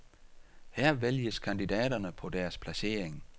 Her vælges kandidaterne på deres placering.